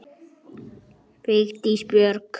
Vigdís Björk.